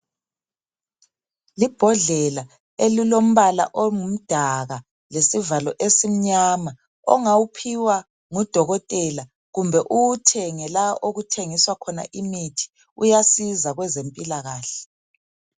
Libhodlela elilombala ongumdaka, lesivalo esimnyama, ongawuphiwa ngudokotela kumbe uwuthenge la okuthengiswa khona imithi, uyasiza kwezempilakahle.